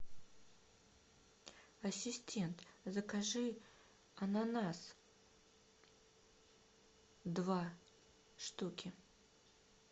ассистент закажи ананас два штуки